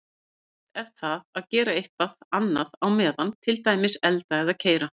Yfirleitt er það að gera eitthvað annað á meðan, til dæmis elda eða keyra.